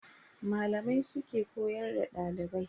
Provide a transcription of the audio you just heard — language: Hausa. Malamai su ke koyar da dalibai.